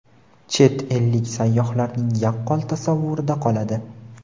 chet ellik sayyohlarning yaqqol tasavvurida qoladi.